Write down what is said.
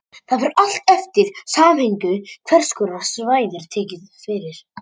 Það fer allt eftir samhenginu hvers konar svæði er tekið fyrir.